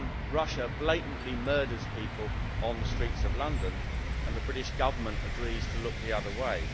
Russia blatantly murders people on the streets of London and the British Government agrees to look the other way.